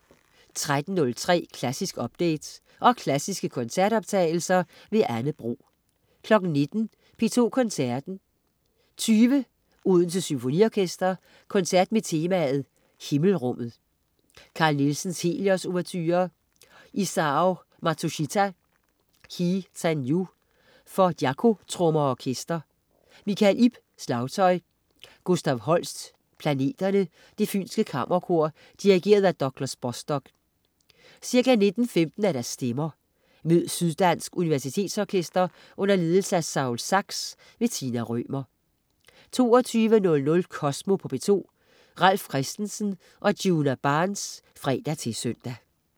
13.03 Klassisk update. Og klassiske koncertoptagelser. Anne Bro 19.00 P2 Koncerten. 20.00 Odense Symfoniorkester. Koncert med temaet Himmelrummet. Carl Nielsen: Helios-ouverture. Isao Matsushita: Hi-ten-yu for daikotrommer og orkester. Mikkel Ib, slagtøj. Gustav Holst: Planeterne. Det Fynske Kammerkor. Dirigent: Douglas Bostock. Ca. 19.15 Stemmer. Mød Syddansk Universitetsorkester under ledelse af Saul Zaks. Tina Rømer 22.00 Kosmo på P2. Ralf Christensen og Djuna Barnes (fre-søn)